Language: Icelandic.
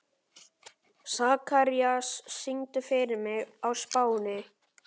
Sakarías, syngdu fyrir mig „Á Spáni“.